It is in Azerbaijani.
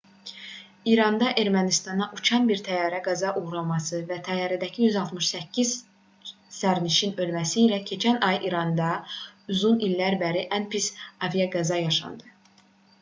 i̇randan ermənistana uçan bir təyyarənin qəzaya uğraması və təyyarədəki 168 sərnişinin ölməsi ilə keçən ay i̇randa uzun illərdən bəri ən pis aviaqəza yaşandı